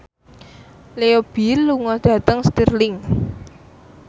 Leo Bill lunga dhateng Stirling